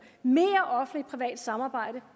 mere offentligt privat samarbejde